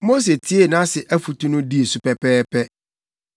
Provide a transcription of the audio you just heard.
Mose tiee nʼase afotu no dii so pɛpɛɛpɛ.